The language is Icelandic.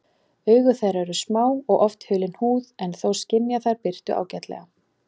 Augu þeirra eru smá og oft hulin húð en þó skynja þær birtu ágætlega.